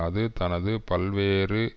அது தனது பல்வேறு